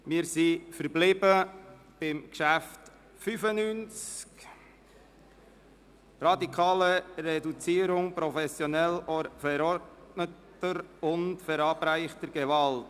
Wir behandeln das Traktandum Nummer 85 mit dem Titel «Radikale Reduzierung professionell verordneter und verabreichter Gewalt.